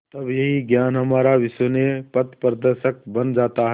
तब यही ज्ञान हमारा विश्वसनीय पथप्रदर्शक बन जाता है